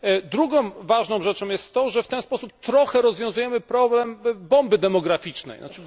Drugą ważną rzeczą jest to, że w ten sposób trochę rozwiązujemy problem bomby demograficznej, tzn.